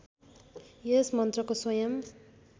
यस मन्त्रको स्वयम्